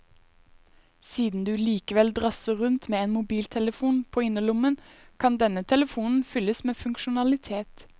Siden du likevel drasser rundt med en mobiltelefon på innerlommen, kan denne telefonen fylles med funksjonalitet.